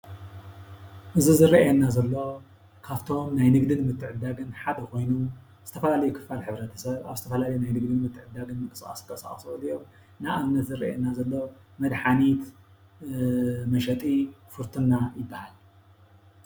እዚ ዝረእየና ዘሎ ካፍቶም ናይ ንግድን ምትዕድዳግን ሓደ ኾይኑ ዝተፈላለዩ ክፋል ሕብረተሰብ አብ ዝተፈላለየ ንግድን ምትዕድዳግን ምንቅስቃስ ዝንቀሳቀሱ ይኽእሉ እዮም። ንአብነት ዘርእየና ዘሎ መድሓኒት መሸጢ ፉርቱና ይበሃል።